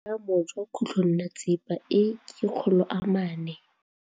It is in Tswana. Boatlhamô jwa khutlonnetsepa e, ke 400.